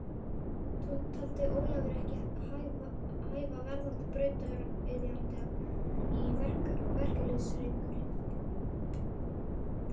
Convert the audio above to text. Það taldi Ólafur ekki hæfa verðandi brautryðjanda í verkalýðshreyfingunni.